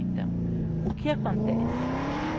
Então, o que acontece?